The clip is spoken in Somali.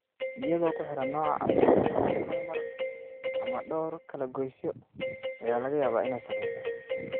Iyadoo ku xiran nooca caabuqa, hal ama dhowr kala goysyo ayaa laga yaabaa inay saameyso.